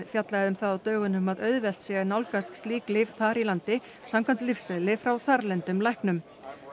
fjallaði um það á dögunum að auðvelt sé að nálgast slík lyf þar í landi samkvæmt lyfseðli frá þarlendum læknum